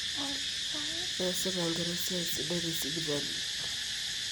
keesita inkera esiai sidai tesipitali